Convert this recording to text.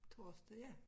Torsdag ja